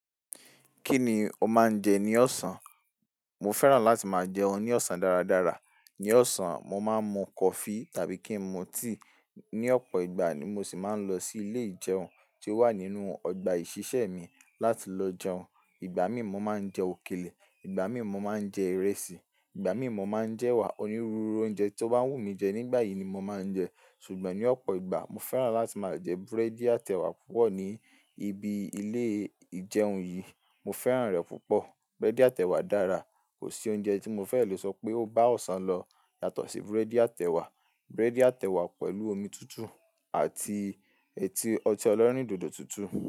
Kí ni o máa ń jẹ ní ọ̀sán? Mo fẹ́ràn láti máa jẹun ní ọ̀sán dáradára. Ní ọ̀sán, mo máa ń mu coffee tàbí kí n mu tea. Ní ọ̀pọ̀ ìgbà ni mo sì máa ń lọ sí ilé ìjẹun tí ó wà nínú ọgbà ìṣiṣẹ́ mi láti lọ jẹun. Ìgbà mí mo máa ń jẹ òkèlè, ìgbà mí mo máa ń jẹ ìrẹsì, ìgbà mí mo máa ń jẹ ẹwà. Onírúurú oúnjẹ tó bá wù mí jẹ nígbà yìí ni mo máa ń jẹ. Ṣùgbọ́n ní ọ̀pọ̀ ìgbà mo fẹ́ràn láti máa jẹ búrẹ́dì atẹ wà púpọ̀ ní ibi ilé ìjẹun yìí. Mo fẹ́ràn rẹ̀ púpọ̀. Búrẹ́dì atẹ wà dára. Kò sí oúnjẹ tí mo fẹ́ lè sọ pé ó bá ọ̀sán lọ yàtọ̀ sí búrẹ́dì atẹ wà. Búrẹ́dì atẹ wà pẹ̀lú omi tútù àti eti ọtí ọlọ́rìn dodo tútù.